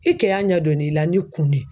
I kɛ y'a ɲɛ donni la ni kun ne ye